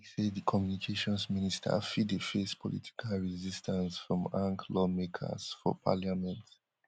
e be like say di communications minister fit dey face political resistance from anc lawmakers for parliament